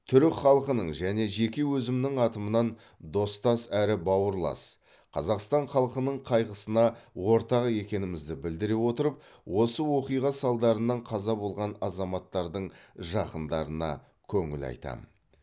түрік халқының және жеке өзімнің атымнан достас әрі бауырлас қазақстан халқының қайғысына ортақ екенімізді білдіре отырып осы оқиға салдарынан қаза болған азаматтардың жақындарына көңіл айтамын